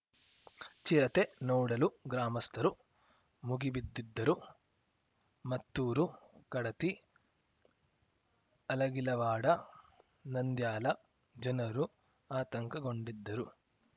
ಚಿರತೆ ನೋಡಲು ಗ್ರಾಮಸ್ಥರು ಮುಗಿಬಿದ್ದಿದ್ದರು ಮತ್ತೂರು ಕಡತಿ ಅಲಗಿಲವಾಡ ನಂದ್ಯಾಲ ಜನರು ಆತಂಕಗೊಂಡಿದ್ದರು